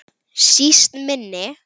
Síst minni.